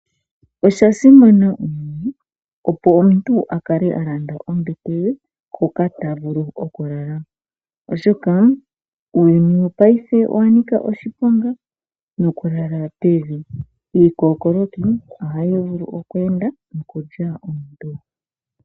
Osha simana, opo omuntu a kale a landa ombete ye hooka ta vulu okulala oshoka uuyuni wopaife owa nika oshiponga niikokoloki oya ninga oyindji.